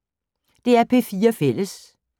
DR P4 Fælles